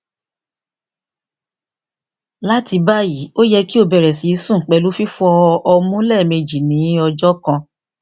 lati bayi o yẹ ki o bẹrẹ sisun pẹlu fifọ ọmu lẹmeji ni ọjọ kan